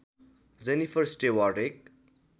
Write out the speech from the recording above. Jennifer Stewart एक